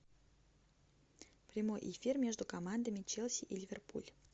прямой эфир между командами челси и ливерпуль